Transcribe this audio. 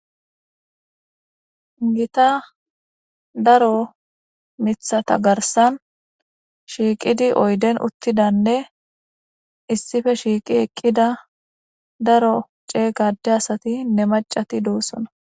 gita daro mithata garsan shiiqidi oyden uttidanne issife shiiqi eqqida daro cey gade asati ne macati doossona